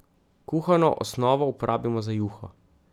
Kuhano osnovo uporabimo za juho.